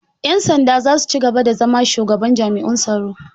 Ƴan sanda zasu cigaba da zama Shugaban jami'un tsaro.